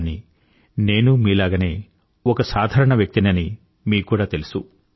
కానీ నేనూ మీలాగనే ఒక సాధారణ వ్యక్తినని మీక్కూడా తెలుసు